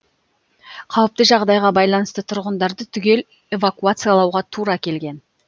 қауіпті жағдайға байланысты тұрғындарды түгел эвакуациялауға тура келген